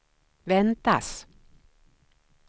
väntas